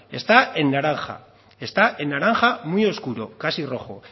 está en naranja está en naranja muy oscuro casi rojo